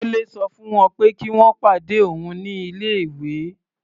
Délé sọ fún wọ́n pé kí wọ́n pàdé òun ní ilé-ìwé.